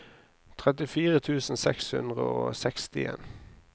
trettifire tusen seks hundre og sekstien